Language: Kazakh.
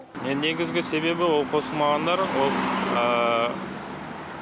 негізгі себебі ол қосылмағандар ол